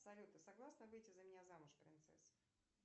салют ты согласна выйти за меня замуж принцесса